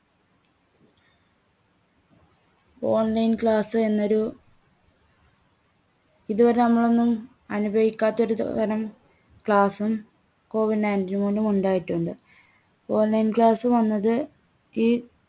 online class എന്നൊരു ഇതുവരെ നമ്മളൊന്നും അനുഭവിക്കാത്ത ഒരുത~രം class ഉം കോവിഡ് nineteen മൂലം ഉണ്ടായിട്ടുണ്ട്. online class വന്നത് ഈ